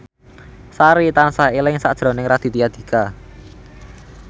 Sari tansah eling sakjroning Raditya Dika